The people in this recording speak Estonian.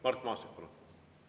Mart Maastik, palun!